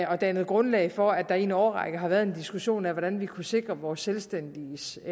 har dannet grundlag for at der i en årrække har været en diskussion af hvordan vi kunnet sikre vores selvstændiges